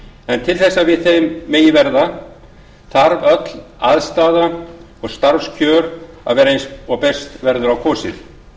en til þess að við þeim megi verða þarf öll aðstaða hér og starfskjör að vera eins og best verður á kosið